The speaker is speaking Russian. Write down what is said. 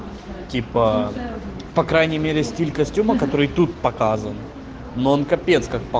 типа по крайней мере стиль костюма который тут показан но он капец как